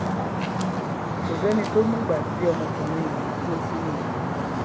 kò sẹ́ni tó mọ̀gbà tí ọmọkùnrin yìí kó sínú kànga